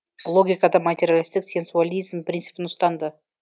логикада материалистік сенсуализм принципін ұстанды